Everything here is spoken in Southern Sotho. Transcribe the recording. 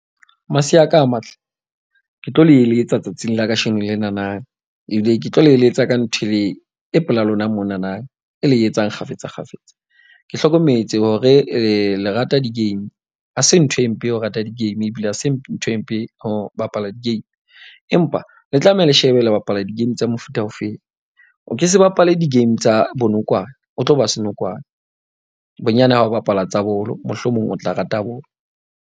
Masea a ka a matle ke tlo le eletsa tsatsing la kasheno lenana. Ebile ke tlo le eletsa ka nthwe e pela lona monana e le etsang kgafetsa kgafetsa. Ke hlokometse hore le lerata di-game. Ha se ntho e mpe ya ho rata di-game ebile ha se ntho e mpe ho bapala di-game. Empa le tlameha le shebe le bapala di-game tsa mofuta o feng. O ke se bapale di-game tsa bonokwane. O tlo ba senokwane, bonyane ha o bapala tsa bolo, mohlomong o tla rata bolo.